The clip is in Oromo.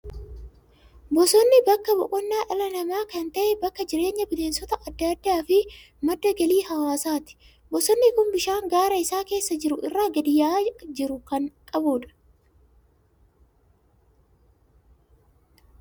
Bosonni bakka boqonnaa dhala namaa kan ta'e, bakka jireenya bineensota adda addaa fi madda galii hawaasaati. Bosonni kun bishaan gaara isa keessa jiru irraa gadi yaa'aa jiru kan qabu dha.